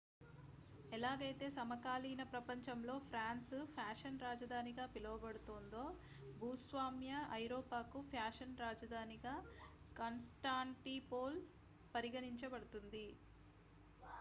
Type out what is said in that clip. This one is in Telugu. ఎలాగైతే సమకాలీన ప్రపంచంలో ఫ్రాన్స్ ఫ్యాషన్ రాజధానిగా పిలవబడుతోందో భూస్వామ్య ఐరోపాకు ఫ్యాషన్ రాజధానిగా కాన్స్టాంటిపోల్ పరిగణించబడుతుంది